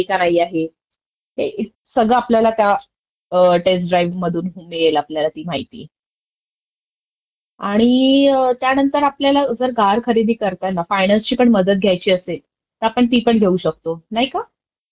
हे तू बरोबर बोललिस, हा हे तू बरोबर बोललिस. म्हणजे कसं आहे आता, आता तर सगळयाचं बॅंका अग्रेसिव्हली फायनान्स करतायतं आणि रेट ऑफ इंट्रेस पण त्यांचे अग्रेसिव्ह असतात. फक्त आता आफ्टर कोविड